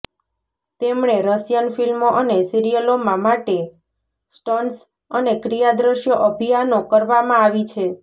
તેમણે રશિયન ફિલ્મો અને સિરીયલોમાં માટે સ્ટન્ટ્સ અને ક્રિયા દ્રશ્યો અભિયાનો કરવામાં આવી છે